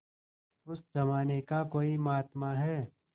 उस जमाने का कोई महात्मा है